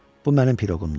Bu mənim piroqumdur.